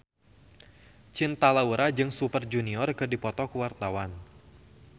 Cinta Laura jeung Super Junior keur dipoto ku wartawan